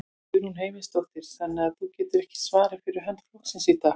Guðrún Heimisdóttir: Þannig að þú getur ekki svarað fyrir hönd flokksins í dag?